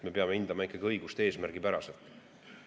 Me peame hindama õigust eesmärgipäraselt.